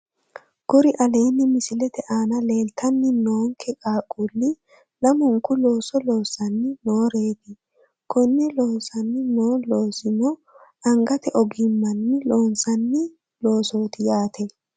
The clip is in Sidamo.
Kuri aleenni misilete aana leeltanni noonke qaaqquulli lamunku looso loossanni nooreeti koni loossanni noo loosino angate ogimmanni loonsanni loosooti yaate